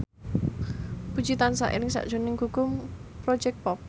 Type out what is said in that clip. Puji tansah eling sakjroning Gugum Project Pop